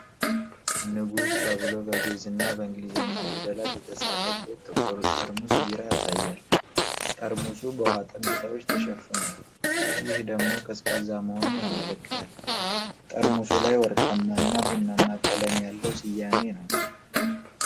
'ንጉስ' ተብሎ በግእዝ እና በእንግሊዝኛ ፊደላት የተፃፈበት ጥቁር ጠርሙስ ቢራ ያሳያል። ጠርሙሱ በውሃ ጠብታዎች ተሸፍኗል፤ ይህ ደግሞ ቀዝቃዛ መሆኑን ያመለክታል። ጠርሙሱ ላይ ወርቃማ እና ቡናማ ቀለም ያለው ስያሜ ነው።